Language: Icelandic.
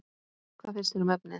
Hvað finnst þér um efnið?